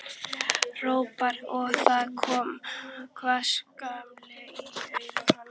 hrópanir og það kom hvass glampi í augu hans.